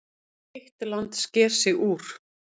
Eitt land sker sig úr.